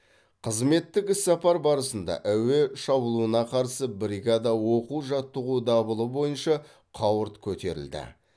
қызметтік іссапар барысында әуе шабуылына қарсы бригада оқу жаттығу дабылы бойынша қауырт көтерілді